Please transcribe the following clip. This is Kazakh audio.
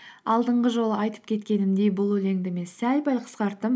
алдыңғы жолы айтып кеткенімдей бұл өлеңді мен сәл пәл қысқарттым